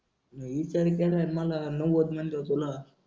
ईचार केल्यावर मला नव्वद मनल तुला.